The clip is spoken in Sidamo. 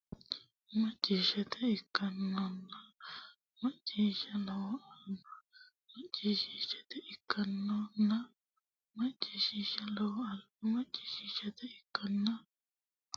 macciishshate ikkannona macciishsha Lowo alba macciishshate ikkannona macciishsha Lowo alba macciishshate ikkannona macciishsha macciishsha ikkannona macciishshate alba Lowo geeshsha danchaho !